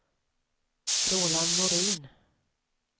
Roland Norin